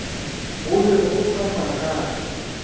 go be go sa makatše